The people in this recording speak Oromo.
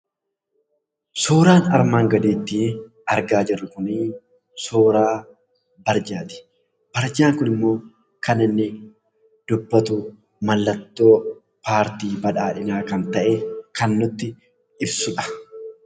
Suuraan armaan gadiittii argaa jirru kunii suuraa barjaati. Barjaan kunimmoo kan inni dubbatu mallattoo paartii Badhaadhinaa kan ta'e kan nutti ibsudha.